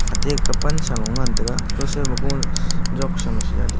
atai ki pansa lu ngan taiga kaw soi ma gah jatsa ma jale--